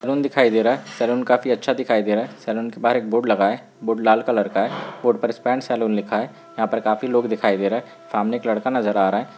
Salon दिखाई दे रहा है सलून काफी अच्छा दिखाई दे रहा है सलून के बहार एक बोर्ड लगा हुआ है बोर्ड लाल कलर का है बोर्ड पर स्पा एंड सलून लिखा है यहाँ पर काफी लोग दिखाई दे रहे हैं सामने एक लड़का नज़र आ रहा है ।